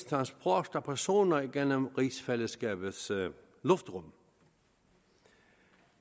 transport af personer gennem rigsfællesskabets luftrum det